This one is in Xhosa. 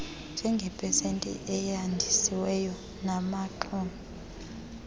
njengepesenti eyandisiweyo yabaxumi